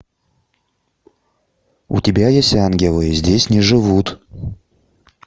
у тебя есть ангелы здесь не живут